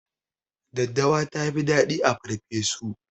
Daddawa tafi dadi a farfeso